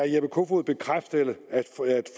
jeppe kofod bekræfte at